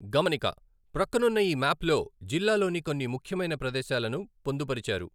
గమనిక, ప్రక్కనున్న ఈ మ్యాప్లో జిల్లాలోని కొన్ని ముఖ్యమైన ప్రదేశాలను పొందుపరిచారు.